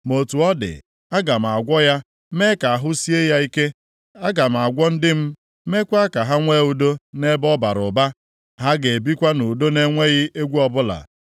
“ ‘Ma otu ọ dị, aga m agwọ ya, mee ka ahụ sie ya ike. Aga m agwọ ndị m, meekwa ka ha nwe udo nʼebe ọ bara ụba. Ha ga-ebikwa nʼudo na-enweghị egwu ọbụla.